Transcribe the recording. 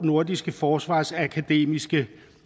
nordiske forsvarsakademiske